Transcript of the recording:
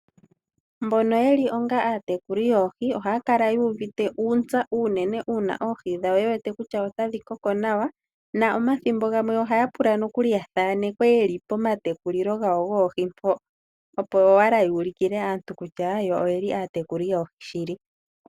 Mbono yeli onga atekuli yoohi ohaya kala uuvite uutsa uunene uuna oohi dhawo yewete kutya otadhi koko nawa na omathimbo gamwe ohaya pula no kuli ya thanekwe yeli pomatekulilo gawo goohi mpo, opo wala ulikile aantu kutya yo oyeli aatakuli yoohi shili.